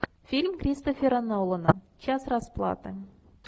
фильм кристофера нолана час расплаты